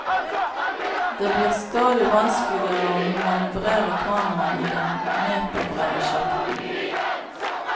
Det blir stadig vanskeligere å manøvrere kanoen i den meterbrede sjakten.